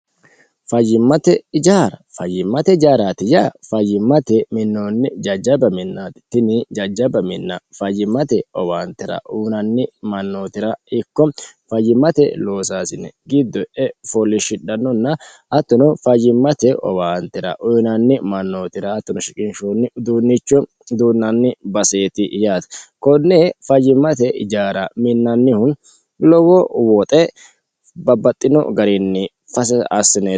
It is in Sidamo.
fayyimmate ijaara fayyimmate ijaaraati ya fayyimmate minnoonni jajjaba minnaati tini jajjaba minna fayyimmate owaantira uyinanni mannootira ikko fayyimmate loosaasine giddo e foolliishshidhannonna attuno fayyimmate owaantira uyinanni mannootira attuno shiqinshoonni uduunnichu duunnanni baseeti yaati konne fayyimmate ijaara minnannihun lowo woxe babbaxxino gariinni fase assineeti.